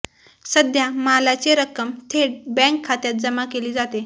सध्या मालाचे रक्कम थेट बँक खात्यात जमा केली जाते